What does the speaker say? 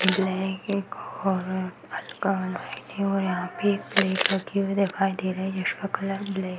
black है और हल्का रेड है और यहाँ पे एक प्लेट रखी हुई दिखाई दे रही है जिसका कलर बलैक --